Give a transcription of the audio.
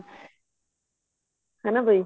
ਹਨਾ ਬਈ